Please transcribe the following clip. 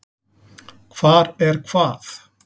Hvar er hvað?